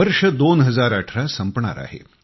वर्ष 2018 संपणार आहे